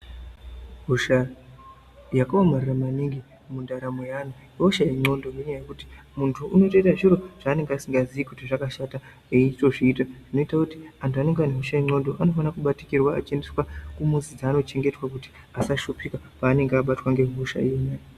Hosha yakaomarara maningi mundaramo yeantu ihosha yendxondo ngenyaya yekuti muntu unotoita zviro zvanenge asingaziyi kuti zvakashata eitozviita zvioita kuti antu anenge anoshaya ndxodo anofanira kubatikirwa achiendeswa kumuzi dzavanochengetwa kuti vasashupika pavange vabatwa ngehosha.